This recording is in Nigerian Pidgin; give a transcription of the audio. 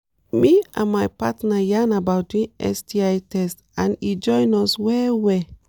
me and my partner yarn about doing sti test and e join us well well